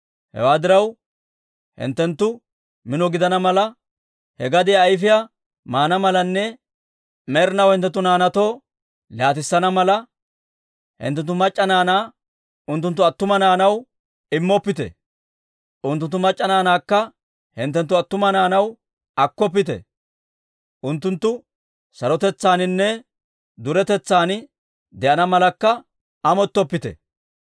Hewaa diraw, hinttenttu mino gidana mala, he gadiyaa ayfiyaa maana malanne med'inaw hinttenttu naanaatoo laatissana mala, hinttenttu mac'c'a naanaa unttunttu attuma naanaw immoppite; unttunttu mac'c'a naanaakka hinttenttu attuma naanaw akkoppite. Unttunttu sarotetsaaninne duretetsan de'ana malakka amottoppite›.